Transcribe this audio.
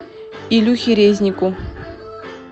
илюхе резнику